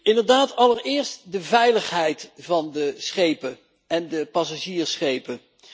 Inderdaad allereerst de veiligheid van de schepen en de passagiersschepen.